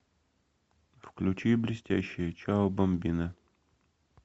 включи блестящие чао бамбина